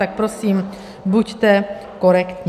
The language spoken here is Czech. Tak prosím, buďte korektní.